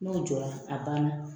N'o jɔra a banna